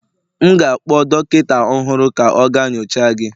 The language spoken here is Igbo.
M ga-akpọ dọkịta ọhụrụ ka ọ gaa nyocha gị